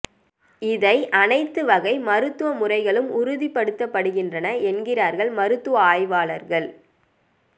இதை அனைத்து வகை மருத்துவ முறைகளும் உறுதிப்படுத்துகின்றன என்கிறார்கள் மருத்துவ ஆய்வாளர்கள்